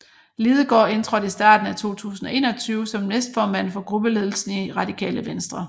Lidegaard indtrådte starten af 2021 som næstformand for gruppeledelsen i Radikale Venstre